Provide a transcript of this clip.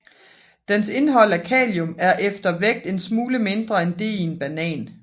Dens indhold af kalium er efter vægt en smule mindre end det i en banan